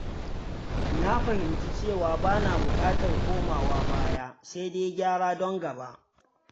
Na fahimci cewa ba na buƙatar komawa baya, sai dai gyara don gaba.